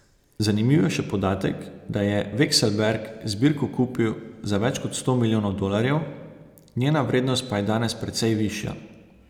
Zanimiv je še podatek, da je Vekselberg zbirko kupil za več kot sto milijonov dolarjev, njena vrednost pa je danes precej višja.